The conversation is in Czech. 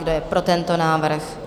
Kdo je pro tento návrh?